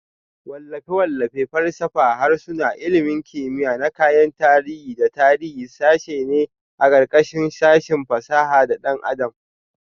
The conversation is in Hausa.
Wallafe-wallafe, falsafa, harsuna, ilmin kimiya na kayan tarihi da tarihi sashe ne a ƙarƙashin sashin fasaha da ɗan adam